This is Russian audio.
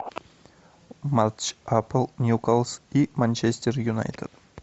матч апл ньюкасл и манчестер юнайтед